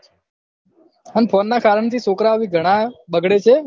અને phone ના કારણ થી છોકરાઓ થી ઘણા બગડે છે